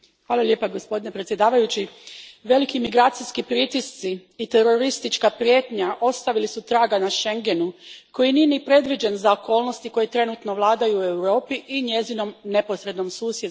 Gospodine predsjedniče, veliki migracijski pritisci i teroristička prijetnja ostavili su traga na Schengenu koji nije ni predviđen za okolnosti koje trenutno vladaju u Europi i njezinom neposrednom susjedstvu.